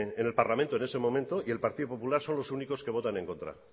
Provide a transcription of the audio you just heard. en el parlamento en ese momento y el partido popular son los únicos que votan en contra